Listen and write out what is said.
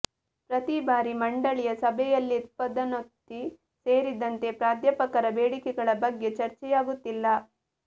ಪ್ರತಿ ಬಾರಿ ಮಂಡಳಿಯ ಸಭೆಯಲ್ಲಿಪದೋನ್ನತಿ ಸೇರಿದಂತೆ ಪ್ರಾಧ್ಯಾಪಕರ ಬೇಡಿಕೆಗಳ ಬಗ್ಗೆ ಚರ್ಚೆಯಾಗುತ್ತಿಲ್ಲ